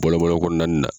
Bɔlɔn bɔlɔn kɔnɔna nin na